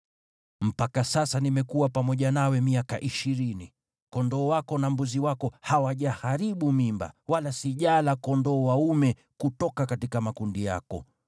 “Mpaka sasa nimekuwa pamoja nawe miaka ishirini. Kondoo wako na mbuzi wako hawajaharibu mimba, wala sijala kondoo dume kutoka makundi yako.